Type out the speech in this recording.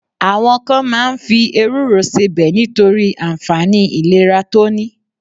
Àwọn kan ma ń fi ewúro sebẹ̀ nítorí ànfàní ìlera tó ní.